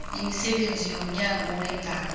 imisebenzi yomnyango weendaba